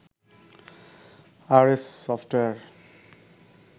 RS software